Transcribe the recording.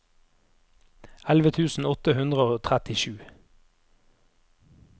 elleve tusen åtte hundre og trettisju